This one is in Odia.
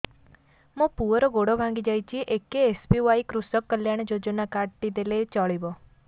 ମୋ ପୁଅର ଗୋଡ଼ ଭାଙ୍ଗି ଯାଇଛି ଏ କେ.ଏସ୍.ବି.ୱାଇ କୃଷକ କଲ୍ୟାଣ ଯୋଜନା କାର୍ଡ ଟି ଦେଲେ ଚଳିବ